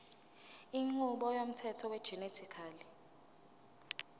inqubo yomthetho wegenetically